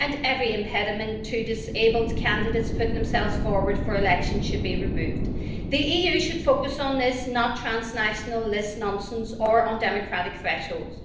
and every impediment to disabled candidates putting themselves forward for election should be removed. The EU should focus on this, and not on transnational list nonsense or undemocratic thresholds.